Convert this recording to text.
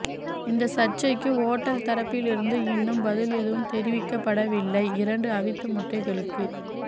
இந்த சர்ச்சைக்கு ஓட்டல் தரப்பில் இருந்து இன்னும் பதில் எதுவும் தெரிவிக்கப்படவில்லை இரண்டு அவித்த முட்டைகளுக்கு